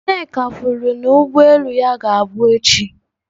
Nneka kwuru na ụgbọ elu ya ga-abụ echi.